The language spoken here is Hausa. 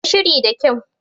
Yi shiri da kyau.